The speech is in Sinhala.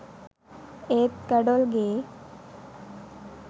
ඒත් ගඩොල් ගේ